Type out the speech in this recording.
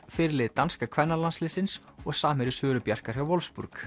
fyrirliði danska kvennalandsliðsins og samherji Söru Bjarkar hjá